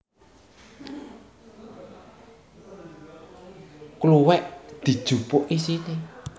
Kluwek dijupuk isine